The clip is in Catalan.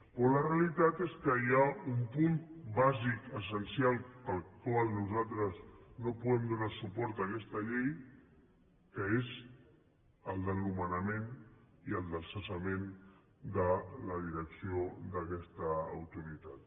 però la realitat és que hi ha un punt bàsic essencial pel qual nosaltres no podem donar suport a aquesta llei que és el del nomenament i el del cessament de la direcció d’aquesta autoritat